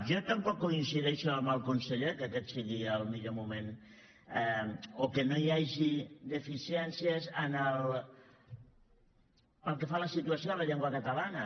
jo tampoc coincideixo amb el conseller que aquest sigui el millor moment o que no hi hagi deficiències pel que fa a la situació de la llengua catalana